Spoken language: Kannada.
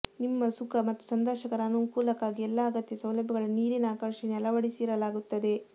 ನಿಮ್ಮ ಸುಖ ಮತ್ತು ಸಂದರ್ಶಕರ ಅನುಕೂಲಕ್ಕಾಗಿ ಎಲ್ಲಾ ಅಗತ್ಯ ಸೌಲಭ್ಯಗಳನ್ನು ನೀರಿನ ಆಕರ್ಷಣೆಯ ಅಳವಡಿಸಿರಲಾಗುತ್ತದೆ